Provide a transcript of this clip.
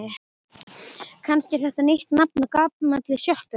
Kannski er þetta nýtt nafn á gamalli sjoppu?